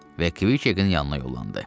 Və Kviçekin yanına yollandı.